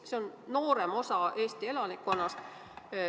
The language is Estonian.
See on noorem osa Eesti elanikkonnast.